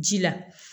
Ji la